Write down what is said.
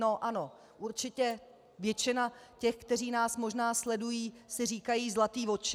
No ano, určitě většina těch, kteří nás možná sledují, si říkají zlatý voči.